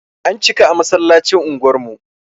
An cika a masallacin unguwar mu.